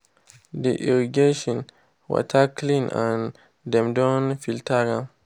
the irrigation water clean and dem don filter am.